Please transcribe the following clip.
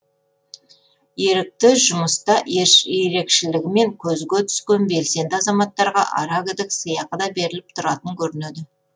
ерікті жұмыста ерекшелігімен көзге түскен белсенді азаматтарға аракідік сыйақы да беріліп тұратын көрінеді